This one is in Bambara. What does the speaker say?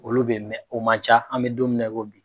Olu bɛ o man ca an bɛ don min na i ko bi.